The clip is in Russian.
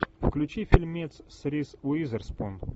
включи фильмец с риз уизерспун